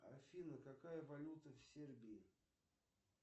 афина какая валюта в сербии